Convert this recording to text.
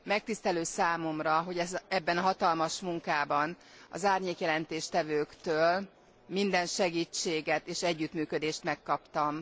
Megtisztelő számomra, hogy ebben a hatalmas munkában az árnyék jelentéstevőktől minden segítséget és együttműködést megkaptam.